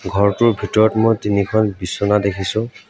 ঘৰটোৰ ভিতৰত মই তিনিখন বিছনা দেখিছোঁ।